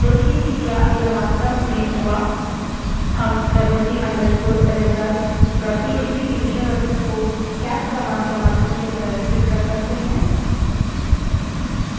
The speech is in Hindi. अब देखें कि क्या यह वास्तव में हुआ हम wc _ results WC _ result dot TXT की विषयवस्तु को केट command के माध्यम से प्रदर्शित कर सकते हैं